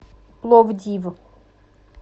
пловдив